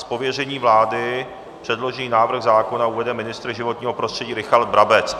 Z pověření vlády předložený návrh zákona uvede ministr životního prostředí Richard Brabec.